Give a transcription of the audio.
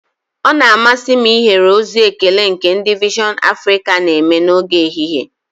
Ọ na-amasị m ihere ozi ekele nke ndị vision Africa na-eme n'oge ehihie